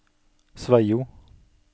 Sveio